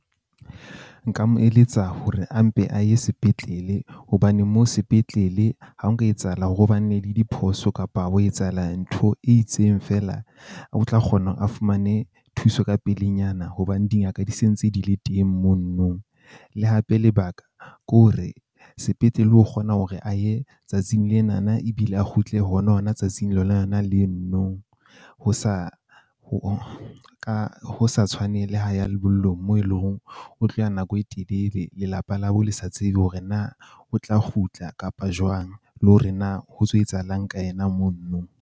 Nka mo eletsa hore a mpe a ye sepetlele hobane mo sepetlele. Ha nka etsahala hore ho ba ne le diphoso kapa wa etsahala ntho e itseng feela, o tla kgona hore a fumane thuso ka pelenyana hobane dingaka di se ntse di le teng monono. Le hape lebaka ke hore sepetlele o kgona hore a ye tsatsing lena na ebile a kgutle hona hona tsatsing lona le no no ho sa ka ho tshwane le ha ya lebollong moo eleng hore o tlo ya nako e telele. Lelapa la bo le sa tsebe hore na o tla kgutla kapa jwang le hore na ho tso etsahalang ka yena monono.